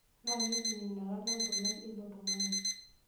Naa keipim inakata nkulak eilo tung'ani.